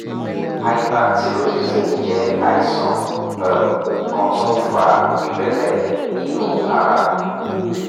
hyperthyroidism jẹ́ àìsàn um kan tó ń fa ìrẹ̀lẹ̀ inú ara